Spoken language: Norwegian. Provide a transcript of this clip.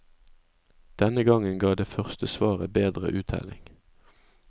Denne gangen ga det første svaret bedre uttelling.